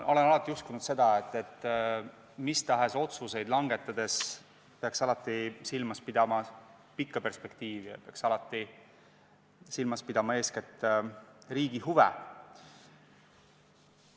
Ma olen alati uskunud seda, et mis tahes otsuseid langetades peaks silmas pidama pikka perspektiivi, peaks alati silmas pidama eeskätt riigi huve.